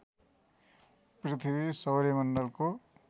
पृथ्वी सौर्यमण्डलको